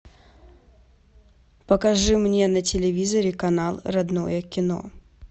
покажи мне на телевизоре канал родное кино